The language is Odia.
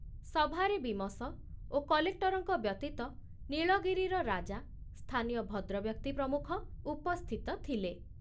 ସଭାରେ ବୀମସ ଓ କଲେକ୍ଟରଙ୍କ ବ୍ୟତୀତ ନୀଳଗିରିର ରାଜା, ସ୍ଥାନୀୟ ଭଦ୍ରବ୍ୟକ୍ତି ପ୍ରମୁଖ ଉପସ୍ଥିତ ଥିଲେ।